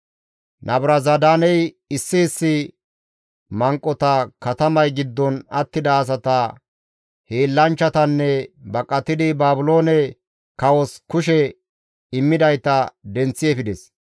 Nabuzaradaaney issi issi manqota, katamay giddon attida asata, hiillanchchatanne baqatidi Baabiloone kawos kushe immidayta denththi efides.